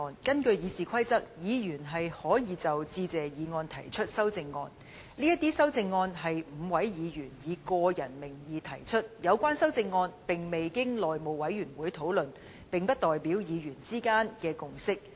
根據《議事規則》，議員可就致謝議案提出修正案，這些修正案是5位議員以個人名義提出的，未經內務委員會討論，並不代表議員之間的共識。